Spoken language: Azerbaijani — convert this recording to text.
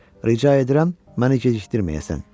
Rica edirəm, məni gecikdirməyəsən.